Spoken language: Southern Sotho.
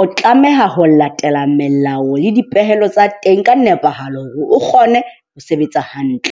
O tlameha ho latela melao le dipehelo tsa teng ka nepahalo hore o kgone ho sebetsa hantle.